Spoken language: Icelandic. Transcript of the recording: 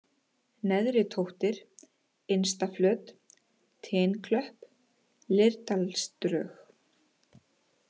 Neðritóttir, Innstaflöt, Tinklöpp, Leirdalsdrög